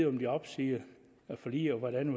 om de opsiger forliget og hvordan